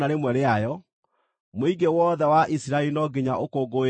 Mũingĩ wothe wa Isiraeli no nginya ũkũngũĩre Bathaka.